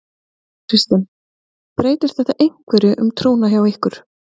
Kristinn: Breytir þetta einhverju um trúna hjá ykkur?